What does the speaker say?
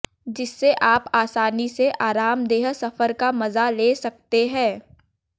जिससे आप आसानी से आरामदेह सफर का मजा ले सकते हैं